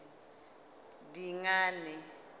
dingane